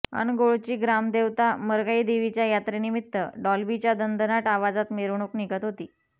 अनगोळची ग्रामदेवता मरगाई देवीच्या यात्रेनिमित्त डॉल्बीच्या दणदणाट आवाजात मिरवणुक निघत होती